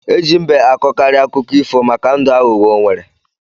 Eji mbe akọ kari akụkọ ifo màkà ndụ aghugho o nwere.